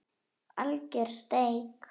Alger steik